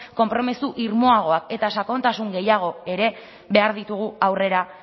konpromiso irmoagoa eta sakontasun gehiago ere behar ditugu aurrera